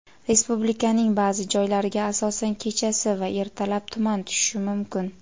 Respublikaning ba’zi joylariga asosan kechasi va ertalab tuman tushishi mumkin.